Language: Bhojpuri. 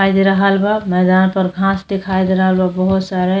दीखाई दे रहल बा मैदान पर घाँस दिखाई दे रहल बा बहुत सारे।